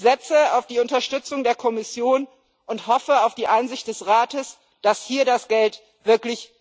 Ich setze auf die Unterstützung der Kommission und hoffe auf die Einsicht des Rates, dass hier das Geld wirklich gut angelegt ist.